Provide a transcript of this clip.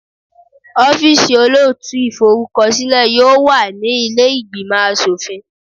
Ọ́fíìsì olóòtú ìforúkọsílẹ̀ yóò wà ní ilé ìgbìmò aṣòfin.